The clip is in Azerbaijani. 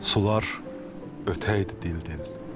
Sular ötəydi dil-dil.